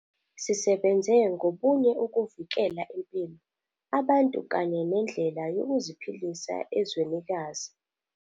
Sisebenze ngobunye ukuvikela impilo, abantu kanye nendlela yokuziphilisa ezwenikazi.